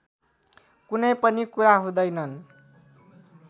कुनै पनि कुरा हुँदैनन्